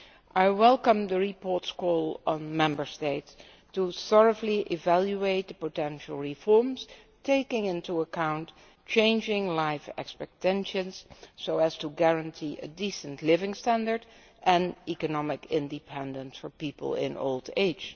I welcome the report's call on the Member States to thoroughly evaluate the potential reforms, taking into account changing life expectations so as to guarantee a decent living standard and economic independence for people in old age.